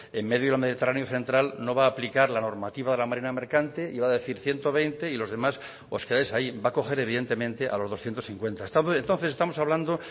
en medio del mediterráneo central no va aplicar la normativa de la marina mercante y va a decir ciento veinte y los demás os quedáis ahí va a coger evidentemente a los doscientos cincuenta entonces estamos hablando